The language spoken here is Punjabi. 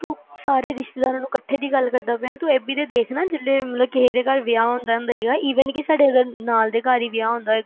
ਤੂੰ ਸਾਰੇ ਰਿਸਤੇਦਾਰ ਨੂੰ ਇਕੱਠੇ ਦੀ ਗੱਲ ਕਰਦਾ ਪੀ ਤੂੰ ਇਹ ਵੀ ਨਾ ਦੇਖ ਨਾ ਕਿਸੇ ਦੇ ਘਰ ਵਿਆਹ ਆਉਂਦਾ ਹੋਏ even ਕੇ ਸਾਡੇ ਨਾਲਦੇ ਘਰ ਹੀ ਵਿਆਹ ਆਉਂਦਾ